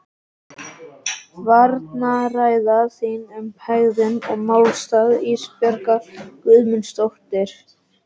Varnarræða þín um hegðun og málstað Ísbjargar Guðmundsdóttur.